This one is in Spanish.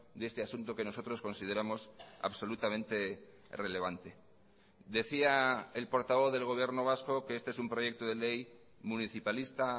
de este asunto que nosotros consideramos absolutamente relevante decía el portavoz del gobierno vasco que este es un proyecto de ley municipalista